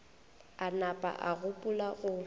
a napa a gopola go